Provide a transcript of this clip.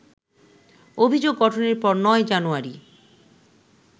অভিযোগ গঠনের পর ৯ জানুয়ারি